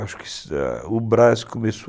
Acho que o Brás começou